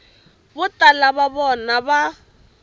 vo tala va vona va